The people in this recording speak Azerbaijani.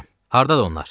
Hardadır onlar?